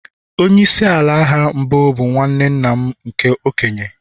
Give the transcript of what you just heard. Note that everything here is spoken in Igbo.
Onye isi ala agha mbụ bụ nwanne nna m nke okenye